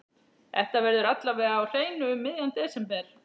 Þetta verður alla vega á hreinu um miðjan desember.